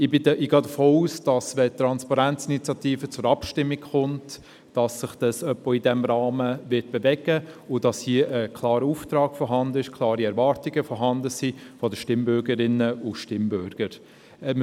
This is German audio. Ich gehe davon aus, dass wenn die «TransparenzInitiative» zur Abstimmung kommt, es sich auch in etwa diesem Rahmen bewegen wird und hier ein klarer Auftrag sowie klare Erwartungen seitens der Stimmbürgerinnen und Stimmbürger vorhanden sind.